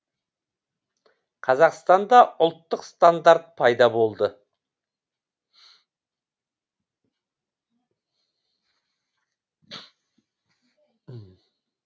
қазақстанда ұлттық стандарт пайда болды